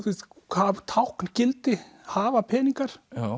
tákngildi hafa peningar